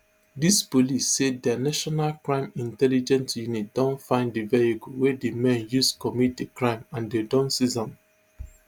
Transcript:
dis police say dia national crime intelligence unit don find di vehicle wey di men use commit di crime and dem don seize am